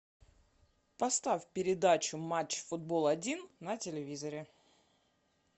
поставь передачу матч футбол один на телевизоре